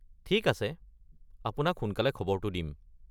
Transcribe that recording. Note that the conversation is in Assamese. ঠিক আছে, আপোনাক সোনকালে খবৰটো দিম।